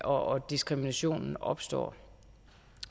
og diskriminationen opstår